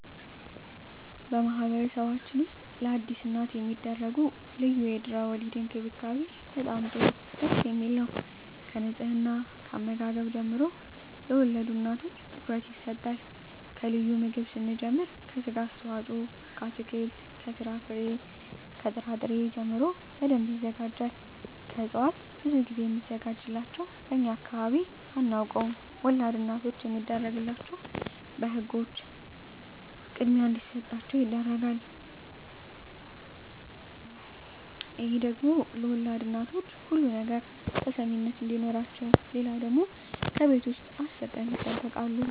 በማህበረሰብችን ውስጥ ለአዲስ እናት የሚደረጉ ልዩ የድህረ _ወሊድ እንክብካቤ በጣም ጥሩ ደስ የሚል ነው ከንጽሕና ከአመጋገብ ጀምሮ ለወልድ እናቶች ትኩረት ይሰጣቸዋል ከልዩ ምግብ ስንጀምር ከስጋ አስተዋጽኦ ከአትክልት ከፍራፍሬ ከጥራ ጥሪ ጀምሮ በደንብ ይዘጋጃል ከእጽዋት ብዙ ግዜ ሚዘጋጅላቸው በእኛ አካባቢ አናውቀውም ወላድ እናቶች የሚደረግላቸው በህጎች በህግ አግባብ ክድሚያ እንዲሰጣቸው ይደረጋል ክድሚያ ለወልድ እናቶች ሁሉ ነገር ተሰሚነት አዲኖረቸው ሌለው ደግሞ ከቤት ውስጥ አስር ቀን ይጠበቃሉ